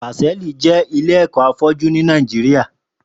Pásẹlí jè ilé ẹkọ áfọjù ni Nàijiriá